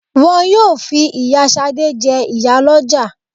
Wọ́n yóò fi ìyá Ṣadé jẹ ìyálóde